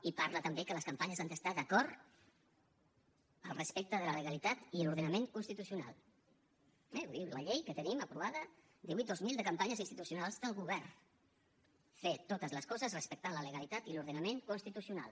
i parla també que les campanyes han de ser d’acord amb el respecte de la legalitat i l’ordenament constitucional eh ho diu la llei que tenim aprovada divuit dos mil de campanyes institucionals del govern fer totes les coses respectant la legalitat i l’ordenament constitucional